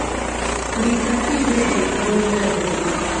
Ng'isa kinde ei buore Nairobi